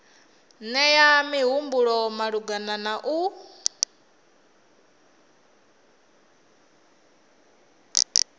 nea mihumbulo malugana na u